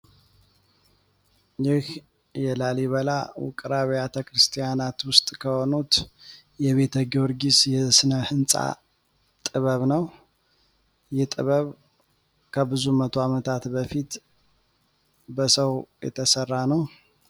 ይህ የላሊበላ ውቅር ብያተክርስቲያናት ውስጥ ከሆኑት የቤተ ጊርጊስ የእስነ ህንፃ ጥበብ ነው። ይህ ጥበብ ከብዙ 10 አመታት በፊት በሰው የተሠራ ነው።